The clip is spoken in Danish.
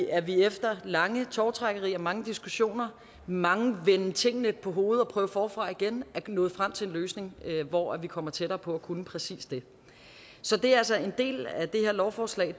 at vi efter lange tovtrækkerier og mange diskussioner mange venden tingene på hovedet og prøve forfra igen er nået frem til en løsning hvor vi kommer tættere på at kunne præcis det så det er altså en del af det her lovforslag